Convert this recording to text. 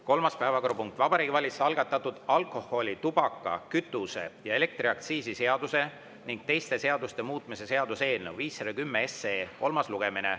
Kolmas päevakorrapunkt: Vabariigi Valitsuse algatatud alkoholi‑, tubaka‑, kütuse‑ ja elektriaktsiisi seaduse ning teiste seaduste muutmise seaduse eelnõu 510 kolmas lugemine.